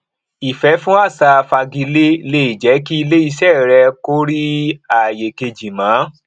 ìfẹ fún àṣà fagilé lè jẹ kí iléiṣẹ rẹ kó rí àyè kejì mọ